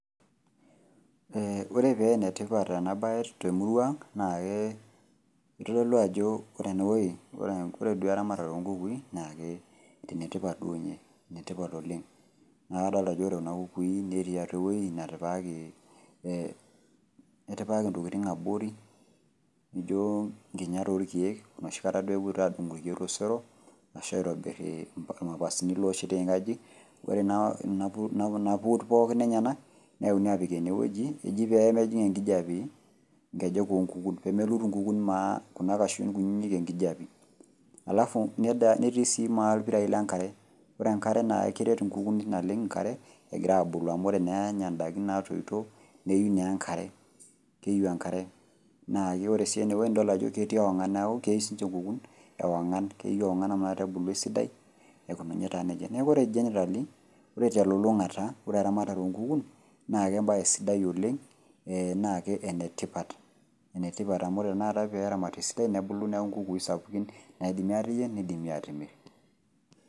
Eeh oree peenetipat ena baye temuruang' naake eitodolu ajo ore enewuei ore duo eramatare onkukui naake enetipat duo ninye, netipat oleng' naakadolta ajo ore kuna kukui netii atua ewuei natipikaki eeh etipikaki ntokitin abori nijo nkinyat olkeek noshikata epuoitai adung'u ilkeek tosero ashu aitobirr ilmapasini looshetieki inkajijik ore naa nena puut pookin enyanak neuni apik enewueji eji peemejing' enkijabe nkejek oonkukun peemelut inkukun maa kuna ashu nkunyinyi enkijape  halafu netii sii maa ilpirai le nkare. Ore enkare naa keret inkukui naleng' nkare egiraabulu amu ore naa enya ndaiki naatoito neyu naaenkare, keyou enkare naake ore sii enewuei nidol ajo ketii ewang'an neaku keyou siinche nkukun ewang'an, keyou ewang'an amu nakata ebulu esidai aikununye taa neija. Neaku ore  generally ore telulung'ata ore eramatare onkukun naake embaye sidai oleng eeh nake enetipat, enetipat amu enakata peeramati esidai nebulu neku nkukui sapukin naaidimi aateyieng' neidimi atimirr.